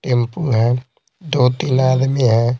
Tempo है दो-तीन आदमी है।